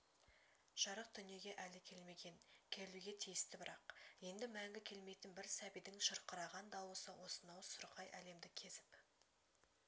жарық дүниеге әлі келмеген келуге тиісті бірақ енді мәңгі келмейтін бір сәбидің шырқыраған дауысы осынау сұрқай әлемді кезіп